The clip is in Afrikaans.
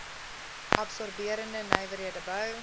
absorberende nywerhede bou